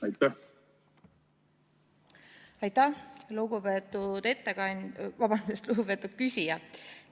Aitäh, lugupeetud ettekandja, vabandust, lugupeetud küsija!